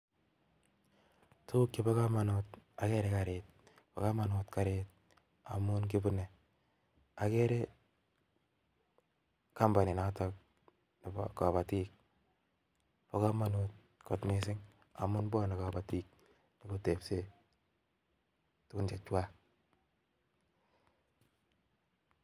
Tukuk chebo komonut okere kariit, bokomonut karit amun kibune, okere kompuninotok nebo kobotik, bo komonut kot mising amun bwone kobotik nyokotebse tukun chechwak